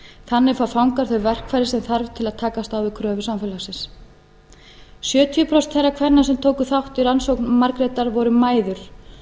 þannig fá fangar þau verkfæri sem þarf til að takast á við kröfur samfélagsins sjötíu prósent þeirra kvenna sem tóku þátt í rannsókn margrétar voru mæður